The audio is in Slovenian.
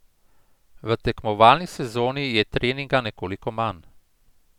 V tekmovalni sezoni je treninga nekoliko manj.